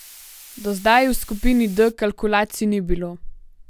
Do zdaj v skupini D kalkulacij ni bilo.